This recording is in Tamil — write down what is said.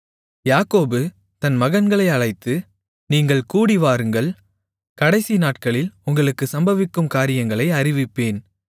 யாக்கோபு தன் மகன்களை அழைத்து நீங்கள் கூடிவாருங்கள் கடைசி நாட்களில் உங்களுக்குச் சம்பவிக்கும் காரியங்களை அறிவிப்பேன்